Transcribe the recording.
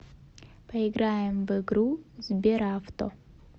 поиграем в игру сберавто